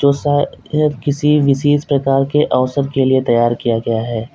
किसी विशेष प्रकार के अवसर के लिए तैयार किया गया है।